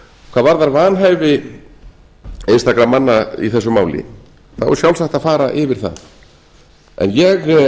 hvað varðar vanhæfi einstakra manna í þessu máli þá er sjálfsagt að fara yfir það en ég